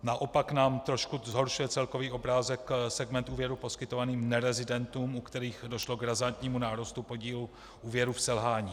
Naopak nám trošku zhoršuje celkový obrázek segment úvěrů poskytovaných nerezidentům, u kterých došlo k razantnímu nárůstu podílu úvěrů v selhání.